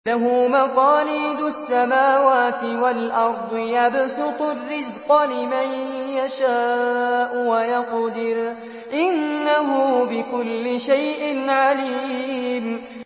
لَهُ مَقَالِيدُ السَّمَاوَاتِ وَالْأَرْضِ ۖ يَبْسُطُ الرِّزْقَ لِمَن يَشَاءُ وَيَقْدِرُ ۚ إِنَّهُ بِكُلِّ شَيْءٍ عَلِيمٌ